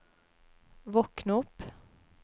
våkn opp